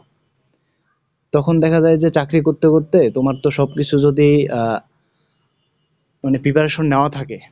তখন দেখা যায় যে চাকরি করতে করতে তোমার তো সবকিছু যদি, আহ, মানে preparation নেওয়া থাকে,